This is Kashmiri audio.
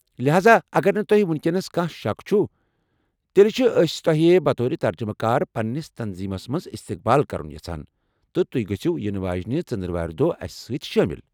لہاذا، اگر نہٕ تۄہہ ونکیٚنس کانٛہہ شک چھُ، تیٚلہ چھ، أسۍ تۄہہ بطور ترجمہٕ کار پننِس تنظیمس منٛز استقبال کرن یژھان تہٕ تُہۍ گٔژھِو ینہٕ واجٮ۪نہِ ژندروارِ دۄہ اسہِ سۭتۍ شٲمِل ۔